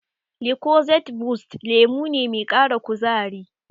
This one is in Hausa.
Lucozade boost lemo ne mai ƙara kuzari.